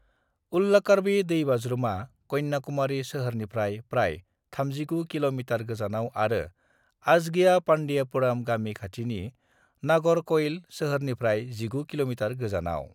उल्लाकार्वी दैबाज्रुमा कन्याकुमारी सोहोरनिफ्राय प्राय 39 किमी गोजानाव आरो अजगियापांडियापुरम गामि खाथिनि नागरकइल सोहोरनिफ्राय 19 किमी गोजानाव।